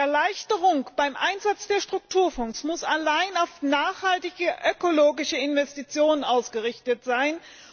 Die Erleichterung beim Einsatz der Strukturfonds muss allein auf nachhaltige, ökologische Investitionen ausgerichtet sein.